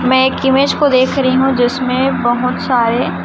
मैं एक इमेज को देख रही हूं जिसमें बहोत सारे--